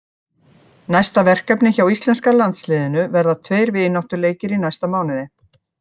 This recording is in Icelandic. Næstu verkefni hjá íslenska landsliðinu verða tveir vináttuleikir í næsta mánuði.